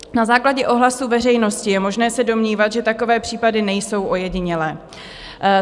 Na základě ohlasu veřejnosti je možné se domnívat, že takové případy nejsou ojedinělé.